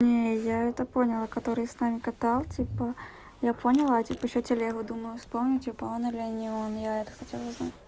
не я это поняла который с нами катал типа я поняла а типа ещё телегу думаю вспомнить типа он или не он я это хотела узнать